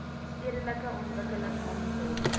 stedelike ontwikkeling monitor